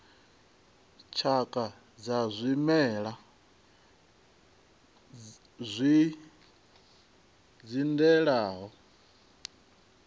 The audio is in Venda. tshakha dza zwimela zwi dzindelaho